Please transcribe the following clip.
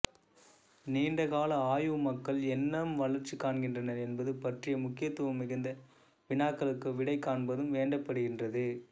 நீண்டகால ஆய்வு மக்கள் எங்ஙனம் வளர்ச்சி காண்கின்றனர் என்பது பற்றிய முக்கியத்துவம் மிகுந்த வினாக்களுக்கு விடை காண்பதும் வேண்டப்படுகின்றது